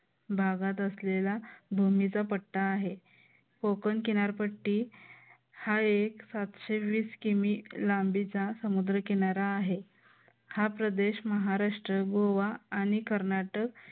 भागात असलेला भूमीचा पट्टा आहे. कोकण किनारपट्टी हा एक सातशे वीस किमी लांबीचा समुद्र किनारा आहे हा प्रदेश महाराष्ट्र गोवा आणि कर्नाटक